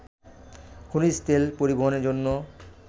খনিজ তেল পরিবহনের জন্য